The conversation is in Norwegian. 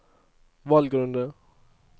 valgrunde